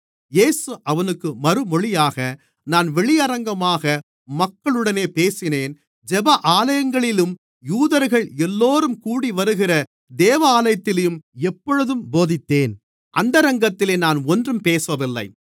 இயேசு அவனுக்கு மறுமொழியாக நான் வெளியரங்கமாக மக்களுடனே பேசினேன் ஜெப ஆலயங்களிலேயும் யூதர்கள் எல்லோரும் கூடிவருகிற தேவாலயத்திலேயும் எப்பொழுதும் போதித்தேன் அந்தரங்கத்திலே நான் ஒன்றும் பேசவில்லை